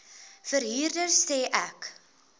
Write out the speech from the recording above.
verhuurder sê ek